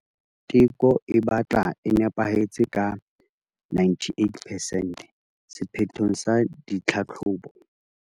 Teko e batla e nepahetse ka 98 percent sephethong sa ditlhahlobo.